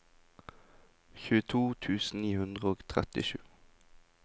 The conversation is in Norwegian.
tjueto tusen ni hundre og trettisju